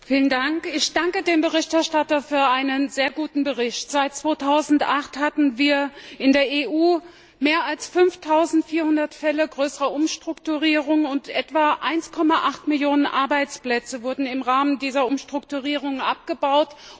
Herr Präsident! Ich danke dem Berichterstatter für einen sehr guten Bericht. Seit 2008 hatten wir in der EU mehr als 5400 Fälle größerer Umstrukturierungen, und etwa 1,8 Millionen Arbeitsplätze wurden im Rahmen dieser Umstrukturierungen abgebaut.